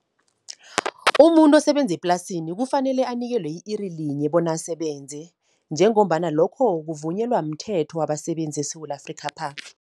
Umuntu osebenze eplasini kufanele anikelwe i-iri linye, bona asebenze, njengombana lokho kuvunyelwa mthetho wabasebenzi eSewula Afrikhapha.